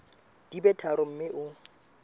di be tharo mme o